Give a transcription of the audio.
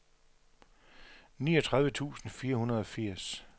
niogtredive tusind fire hundrede og firs